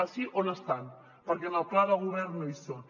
ah sí on estan perquè en el pla de govern no hi són